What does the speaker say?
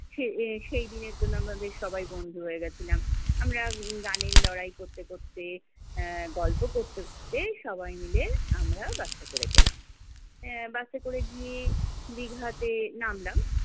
সে এই সেইদিনের জন্য আমরা বেশ সবাই বন্ধু হয়ে গেছিলাম। আমরা গানের লড়াই করতে করতে, আহ গল্প করতে করতে, সবাই মিলে আমরা বাসে করে গেলাম। আহ বাসে করে গিয়ে দীঘা তে নামলাম।